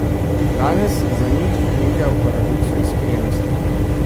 Danes za njih nekaj o paradoksu iskrenosti.